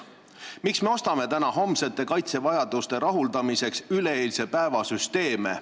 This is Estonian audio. Miks me ostame täna homsete kaitsevajaduste rahuldamiseks üleeilse päeva süsteeme?